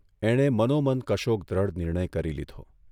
એણે મનોમન કશોક દ્રઢ નિર્ણય કરી લીધો.